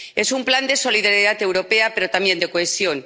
Es un plan de solidaridad europea, pero también de cohesión.